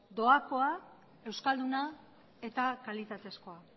doakoa euskalduna eta kalitatezkoa